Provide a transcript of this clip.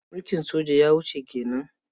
Mulkin soja ya wuce ke nan.